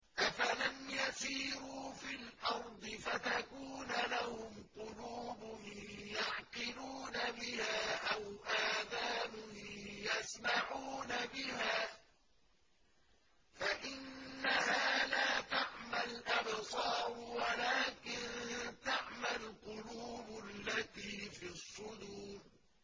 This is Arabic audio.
أَفَلَمْ يَسِيرُوا فِي الْأَرْضِ فَتَكُونَ لَهُمْ قُلُوبٌ يَعْقِلُونَ بِهَا أَوْ آذَانٌ يَسْمَعُونَ بِهَا ۖ فَإِنَّهَا لَا تَعْمَى الْأَبْصَارُ وَلَٰكِن تَعْمَى الْقُلُوبُ الَّتِي فِي الصُّدُورِ